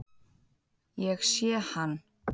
Ég sé hann.